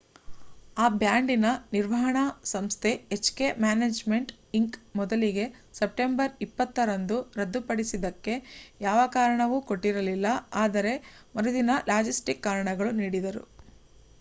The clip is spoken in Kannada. ಆ ಬ್ಯಾಂಡಿನ ನಿರ್ವಹಣಾ ಸಂಸ್ಥೆ ಎಚ್ ಕೆ ಮ್ಯಾನೇಜ್ಮೆಂಟ್ ಇಂಕ್. ಮೊದಲಿಗೆ ಸೆಪ್ಟೆಂಬರ್ 20 ರಂದು ರದ್ದು ಪಡಿಸಿದ್ದಕ್ಕೆ ಯಾವ ಕಾರಣವನ್ನೂ ಕೊಟ್ಟಿರಲಿಲ್ಲ ಆದರೆ ಮರುದಿನ ಲಾಜಿಸ್ಟಿಕ್ ಕಾರಣಗಳನ್ನು ನೀಡಿದರು